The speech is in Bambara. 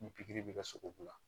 Ni pikiri bɛ kɛ sogobu la